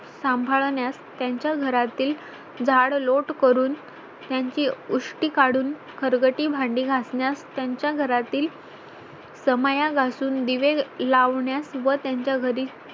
सांभाळण्यास त्यांच्या घरातील झाड लोट करून त्यांची उष्टी काढून खरकटी भांडी घासन्यास त्यांच्या घरातील समया घासून दिवे लावण्या व त्यांच्या घरी